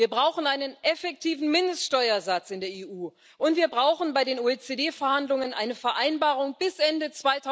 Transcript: Wir brauchen einen effektiven Mindeststeuersatz in der EU und wir brauchen bei den OECD Verhandlungen eine Vereinbarung bis Ende